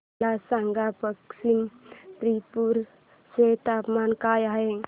मला सांगा पश्चिम त्रिपुरा चे तापमान काय आहे